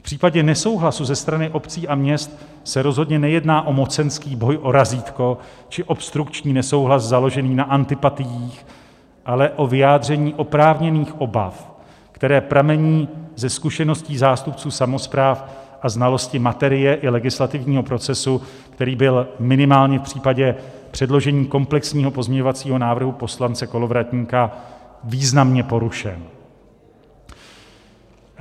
V případě nesouhlasu ze strany obcí a měst se rozhodně nejedná o mocenský boj, o razítko či obstrukční nesouhlas založený na antipatiích, ale o vyjádření oprávněných obav, které pramení ze zkušeností zástupců samospráv a znalosti materie i legislativního procesu, který byl minimálně v případě předložení komplexního pozměňovacího návrhu poslance Kolovratníka významně porušen.